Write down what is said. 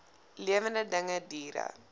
lewende dinge diere